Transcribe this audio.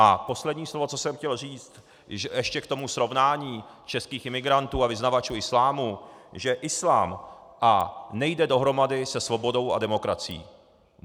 A poslední slovo, co jsem chtěl říct ještě k tomu srovnání českých imigrantů a vyznavačů islámu, že islám nejde dohromady se svobodou a demokracií.